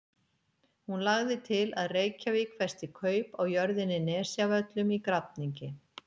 Hún lagði til að Reykjavík festi kaup á jörðinni Nesjavöllum í Grafningi.